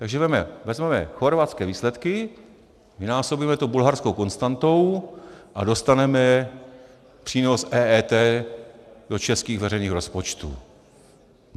Takže vezmeme chorvatské výsledky, vynásobíme to bulharskou konstantou a dostaneme přínos EET do českých veřejných rozpočtů.